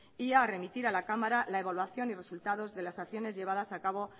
y a remitir a la cámara la evaluación y resultados de las acciones llevadas acabo